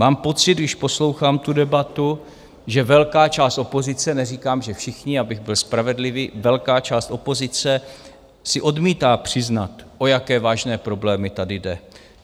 Mám pocit, když poslouchám tu debatu, že velká část opozice - neříkám, že všichni, abych byl spravedlivý, velká část opozice si odmítá přiznat, o jaké vážné problémy tady jde.